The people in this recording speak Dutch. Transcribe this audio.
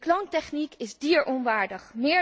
De kloontechniek is dieronwaardig.